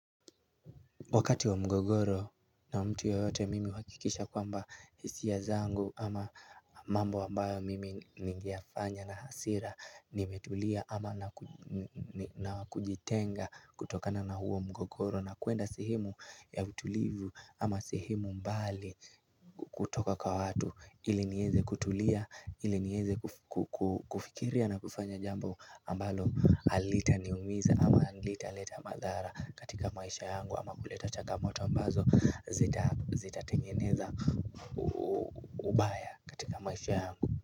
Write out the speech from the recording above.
Wakati wa mgogoro na mtu yoyote mimi huakikisha kwamba hisia zangu ama mambo ambayo mimi ningeyafanya na hasira nimetulia ama na kujitenga kutokana na huo mgogoro na kuenda sehemu ya utulivu ama sehemu mbali kutoka kwa watu ili nieze kutulia ili nieze kufikiria na kufanya jambo ambalo alitaniumisa ama alitaleta madhara katika maisha yangu ama kuleta chagamoto ambazo zitatengeneza ubaya katika maisha yangu.